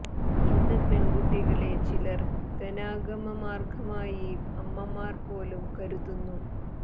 ഇന്ന് പെണ്കുട്ടികളെ ചിലര് ധനാഗമ മാര്ഗമായി അമ്മമാര് പോലും കരുതുന്നു